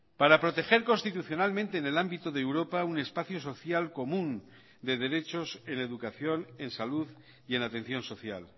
para proteger constitucionalmente en el ámbito de europa un espacio social común de derechos en educación en salud y en atención social